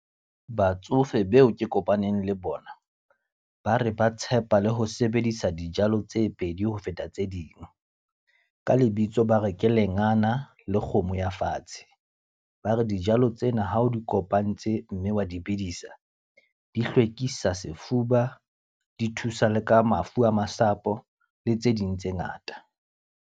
Batsofe beo ke kopaneng le bona, ba re ba tshepa le ho sebedisa dijalo tse pedi ho feta tse ding. Ka lebitso, ba re ke lengana le kgomo ya fatshe. Ba re dijalo tsena ha o di kopantse, mme wa di bidisa. Di hlwekisa sefuba, di thusa le ka mafu a masapo le tse ding tse ngata.